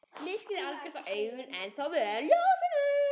Myrkrið var algjört og augun ennþá vön ljósinu.